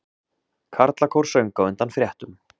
Karlakór söng á undan fréttum